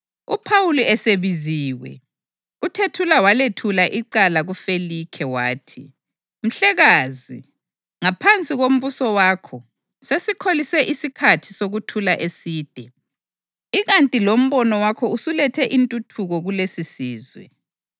UPhawuli esebiziwe, uThethula walethula icala kuFelikhe wathi: “Mhlekazi! Ngaphansi kombuso wakho sesikholise isikhathi sokuthula eside, ikanti lombono wakho usulethe intuthuko kulesisizwe.